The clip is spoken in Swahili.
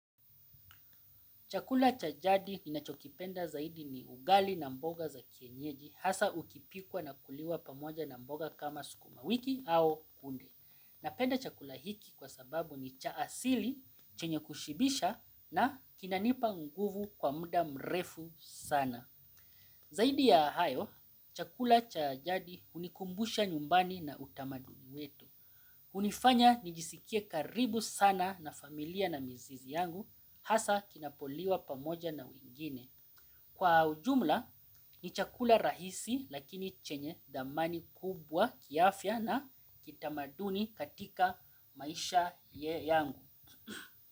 Chakula cha jadi ninachokipenda zaidi ni ugali na mboga za kienyeji hasa ukipikwa na kuliwa pamoja na mboga kama sukuma wiki au kunde. Napenda chakula hiki kwa sababu ni cha asili chenye kushibisha na kinanipa nguvu kwa mda mrefu sana. Zaidi ya hayo, chakula cha jadi hunikumbusha nyumbani na utamaduni wetu. Hunifanya nijisikie karibu sana na familia na mizizi yangu, hasa kinapoliwa pamoja na wengine. Kwa ujumla, ni chakula rahisi lakini chenye thamani kubwa kiafya na kitamaduni katika maisha ye yangu.